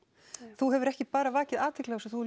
þú hefur ekki bara vakið athygli á þessu þú